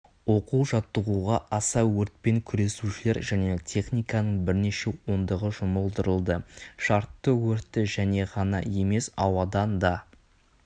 оқу-жаттығуға аса өртпен күресушілер және техниканың бірнеше ондығы жұмылдырылды шартты өртті жерде ғана емес ауадан да